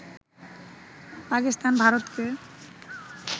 পাকিস্তান ভারতকে